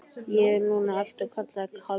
Ég er nú alltaf kallaður Kalli.